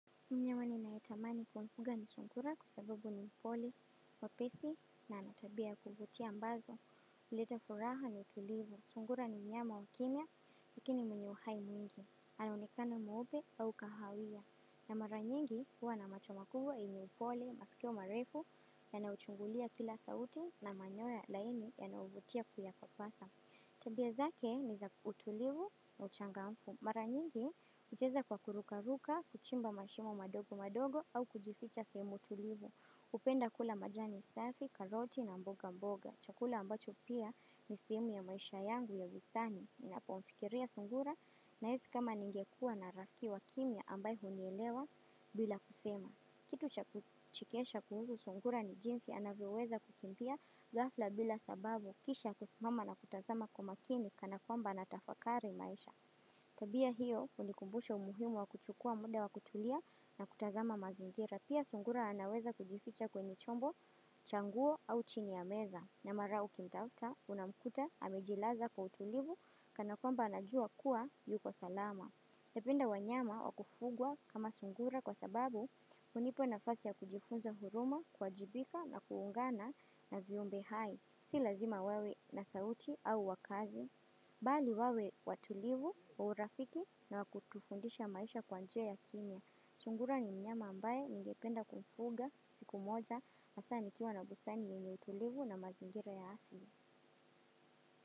Mnyamani nayetamani kuufuga ni sungura kwa sababu ni mpole wa pethi na ana tabia ya kuvutia ambazo. Uleta furaha na utulivu. Sungura ni nyama wa kimya, lakini mwenye uhai mwingi. Anaonekana mweupe au kahawia. Na mara nyingi huwa na macho makubwa yenye upole, maskii marefu, yanaochungulia kila sauti na manyoya laini yanayovutia kuyapapasa. Tabia zake ni za utulivu na uchangamfu. Mara nyingi, hucheza kwa kurukaruka, kuchimba mashimo madogo madogo au kujificha sehemu tulivu. Upenda kula majani safi, karoti na mboga mboga. Chakula ambacho pia ni sehemu ya maisha yangu ya bustani. Ninapomfikiria sungura nahisi kama ningekua na rafki wa kimya ambaye hunielewa bila kusema. Kitu cha kuchekesha kuhusu sungura ni jinsi anavyeweza kukimbia ghafla bila sababu kisha kusimama na kutazama kwa makini kana kwamba anatafakari maisha. Tabia hiyo hunikumbusha umuhimu wa kuchukua muda wa kutulia na kutazama mazingira. Pia sungura anaweza kujificha kwenye chombo cha nguo au chini ya meza. Na mara ukimtafta unamkuta amejilaza kwa utulivu kana kwamba anajua kuwa yuko salama. Napenda wanyama wa kufugwa kama sungura kwa sababu hunipa nafasi ya kujifunza huruma, kuwajibika na kuungana na viumbe hai. Si lazima wawe na sauti au wakazi. Bali wawe watulivu, urafiki na wakutufundisha maisha kwa njia ya kimya. Sungura ni mnyama ambaye ningependa kufuga siku moja, hasa nikiwa na bustani yenye utulivu na mazingira ya asili.